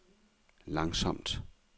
langsomt